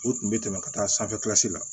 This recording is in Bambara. O tun bɛ tɛmɛ ka taa sanfɛlasi la